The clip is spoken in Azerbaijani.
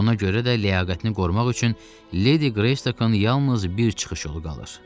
Ona görə də ləyaqətini qorumaq üçün Ledi Qresikonun yalnız bir çıxış yolu qalır: